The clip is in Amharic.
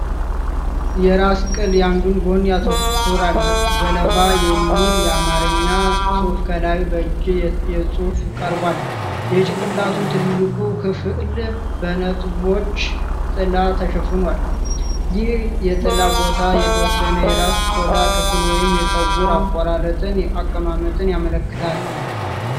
የራስ ቅል የአንዱን ጎን ያተኩራል። "ገለባ" የሚል የአማርኛ ጽሑፍ ከላይ በእጅ ጽሑፍ ቀርቧል። የጭንቅላቱ ትልቁ ክፍል በነጥቦች ጥላ ተሸፍኗል። ይህ የጥላ ቦታ የተወሰነ የራስ ቆዳ ክፍል ወይም የፀጉር አቆራረጥን አቀማመጥ ያመለክታል።